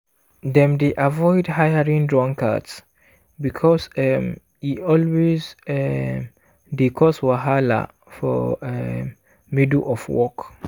dem dey avoid hiring drunkards because um e always um dey cause wahala for um middle of work.